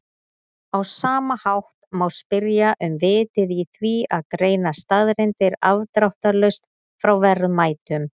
Á sama hátt má spyrja um vitið í því að greina staðreyndir afdráttarlaust frá verðmætum.